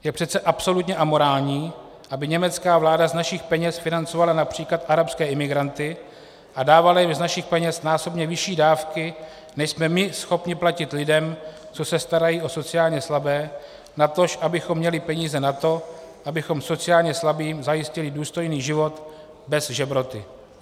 Je přece absolutně amorální, aby německá vláda z našich peněz financovala například arabské imigranty a dávala jim z našich peněz násobně vyšší dávky, než jsme my schopni platit lidem, co se starají o sociálně slabé, natož abychom měli peníze na to, abychom sociálně slabým zajistili důstojný život bez žebroty.